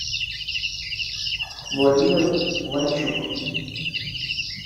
владимир ланчук